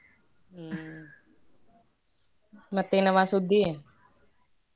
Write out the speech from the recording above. ಹ್ಮ ಮತ್ತೇನವಾ ಸುದ್ದಿ?